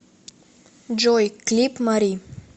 джой клип мари